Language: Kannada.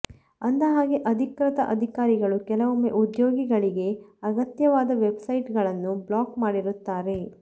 ಅಂದಹಾಗೆ ಅಧಿಕೃತ ಅಧಿಕಾರಿಗಳು ಕೆಲವೊಮ್ಮೆ ಉದ್ಯೋಗಿಗಳಿಗೆ ಅಗತ್ಯವಾದ ವೆಬ್ಸೈಟ್ಗಳನ್ನು ಬ್ಲಾಕ್ ಮಾಡಿರುತ್ತಾರೆ